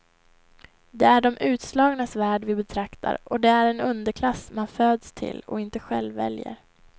Det är de utslagnas värld vi betraktar och det är en underklass man föds till och inte själv väljer.